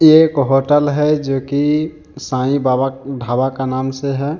एक होटल है जो कि साई बाबा ढाबा का नाम से है।